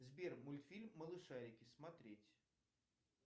сбер мультфильм малышарики смотреть